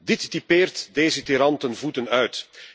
Dit typeert deze tiran ten voeten uit.